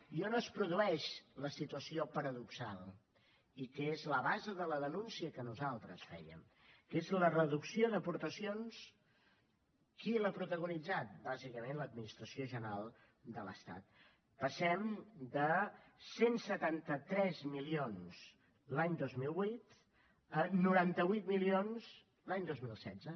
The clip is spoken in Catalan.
i on es produeix la situació paradoxal i que és la base de la denúncia que nosaltres fèiem és la reducció d’aportacions qui l’ha protagonitzat bàsicament l’administració general de l’estat passem de cent i setanta tres milions l’any dos mil vuit a noranta vuit milions l’any dos mil setze